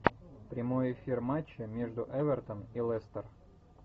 прямой эфир матча между эвертон и лестер